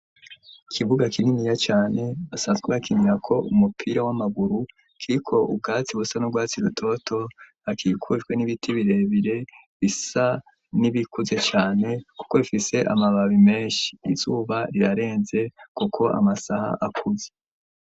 Ikibuga kininiya cane basanzwe bakinirako umupira w'amaguru kiriko ubwatsi busa n'urwatsi rutoto hakikujwe n'ibiti birebire bisa n'ibikuze cane kuko bifise amababi meshi izuba rirarenze kuko amasaha akuze.